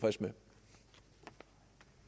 nu skal